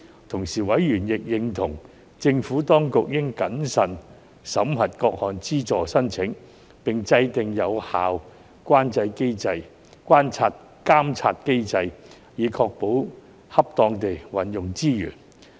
同時，委員亦認同，政府當局應謹慎地審核各項資助申請，並制訂有效監察機制，以確保恰當地運用資源。